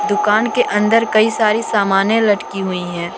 दुकान के अंदर कई सारी सामने लटकी हुई हैं।